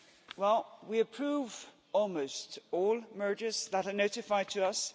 Well, we approve almost all mergers that are notified to us.